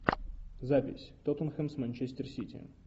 запись тоттенхэм с манчестер сити